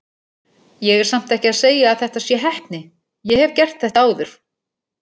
Ég er samt ekki að segja að þetta sé heppni, ég hef gert þetta áður.